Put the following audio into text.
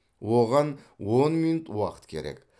оған он минут уақыт керек